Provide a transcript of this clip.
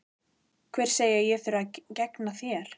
Hver segir að ég þurfi að gegna þér?